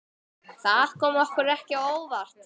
Þetta kom okkur á óvart.